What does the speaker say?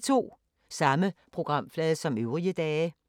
Samme programflade som øvrige dage